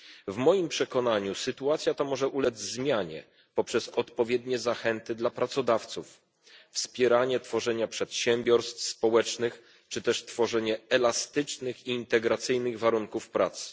W moim przekonaniu sytuacja ta może ulec zmianie poprzez odpowiednie zachęty dla pracodawców, wspieranie tworzenia przedsiębiorstw społecznych czy też tworzenie elastycznych i integracyjnych warunków pracy.